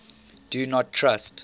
do not trust